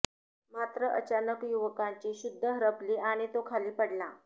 मात्र अचानक युवकाची शुद्ध हरपली आणि तो खाली पडला